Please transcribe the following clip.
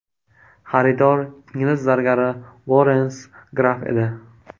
Xaridor ingliz zargari Lorens Graff edi.